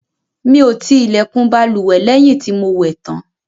Mí o ti ilẹkùn bálùwẹ̀ lẹ́yìn tí o mo wẹ̀ tàn